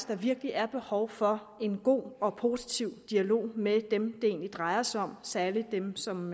der virkelig er behov for en god og positiv dialog med dem det egentlig drejer sig om særlig dem som